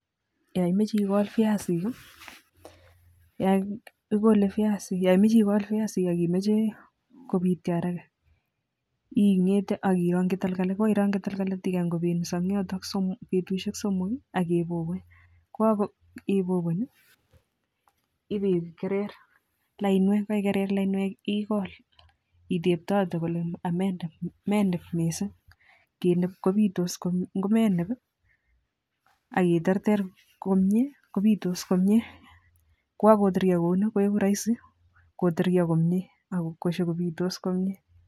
yon imoje igol viac ak imoje kobityo haraga ing'ete ak ironkyi tagolgolit, yekorironkyi tagolgolit ak igany kobeni yoton betusiet somok ak ibubuny, yegoibubuny ii iboigerer laiwek, yekoigerer lainwek egol itebtote ameineb missing',ingomeneb ak iterter komyee kobitos komyee kwokoteryo kouni koigu roisi koteryo konyee ak kobitos komyee.